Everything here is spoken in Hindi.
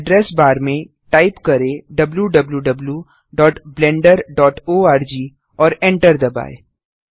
एड्रेस बार में टाइप करें wwwblenderorg और एंटर दबाएँ